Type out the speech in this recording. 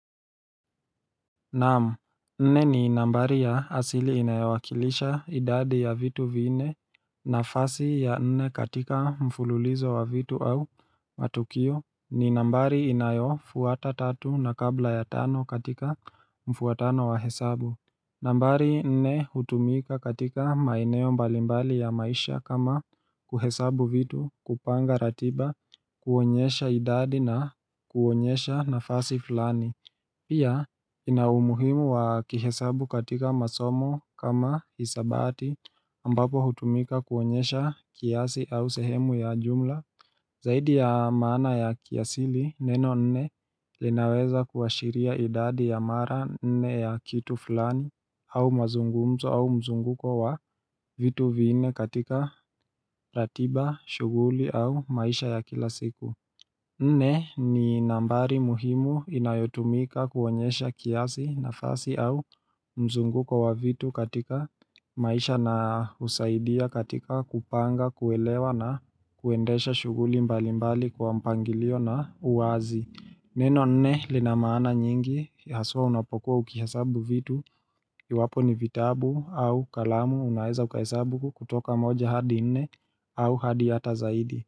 Naam, nne ni nambari ya asili inayowakilisha idadi ya vitu vinne nafasi ya nne katika mfululizo wa vitu au matukio ni nambari inayofuata tatu na kabla ya tano katika mfuatano wa hesabu nambari nne hutumika katika maeneo mbalimbali ya maisha kama kuhesabu vitu kupanga ratiba kuonyesha idadi na kuonyesha nafasi fulani Pia, inaumuhimu wa kihesabu katika masomo kama isabati ambapo hutumika kuonyesha kiasi au sehemu ya jumla Zaidi ya maana ya kiasili, neno nne linaweza kuashiria idadi ya mara nne ya kitu fulani au mazungumzo au mzunguko wa vitu vinne katika ratiba, shughuli au maisha ya kila siku Nne ni nambari muhimu inayotumika kuonyesha kiasi nafasi au mzunguko wa vitu katika maisha na husaidia katika kupanga, kuelewa na kuendesha shughuli mbalimbali kwa mpangilio na uwazi. Neno nne lina maana nyingi haswa unapokuwa ukihesabu vitu, iwapo ni vitabu au kalamu unaweza ukahesabu kutoka moja hadi nne au hadi hata zaidi.